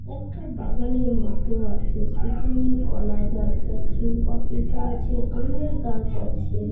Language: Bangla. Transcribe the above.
একটা বাগানের মতো আছে সেখানে কলা গাছ আছে পপিতা আছে আমের গাছ আছে ।